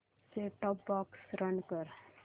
set top box run कर